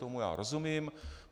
Tomu já rozumím.